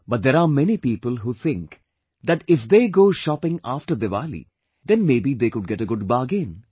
But there are many people who think that if they go shopping after Diwali then may be they could get a good bargain